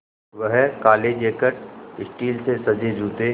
वह काले jacket steel से सजे जूते